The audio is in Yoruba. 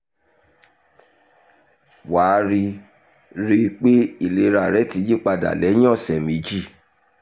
wà á rí rí i pé ìlera rẹ ti yí padà lẹ́yìn ọ̀sẹ̀ méjì